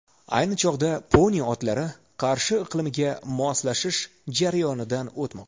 Ayni chog‘da poni otlari Qarshi iqlimiga moslashish jarayonidan o‘tmoqda.